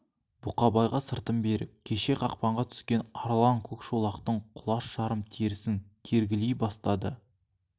бұқабайға сыртын беріп кеше қақпанға түскен арлан көкшолақтың құлаш жарым терісін кергілей бастады